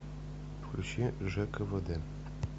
включи жквд